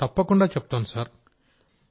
రాజేష్ ప్రజాపతి తప్పకుండాచెప్తాను సార్